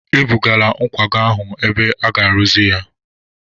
E bụgara nkwago ahụ ebe aga-arụzi ya.